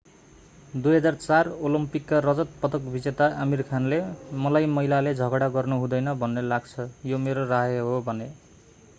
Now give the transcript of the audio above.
2004 ओलम्पिकका रजत पदक विजेता आमीर खानले मलाई महिलाले झगडा गर्नु हुँदैन भन्ने लाग्छ यो मेरो राय हो भने